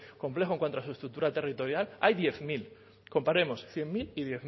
complejo en cuanto a su estructura territorial hay diez mil comparemos cien mil y diez mil